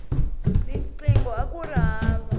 tinqingho akuri hava